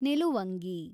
ನಿಲುವಂಗಿ